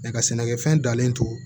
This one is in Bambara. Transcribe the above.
nka sɛnɛkɛfɛn dalen to